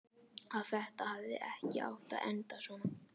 Að þetta hafi ekki átt að enda svona.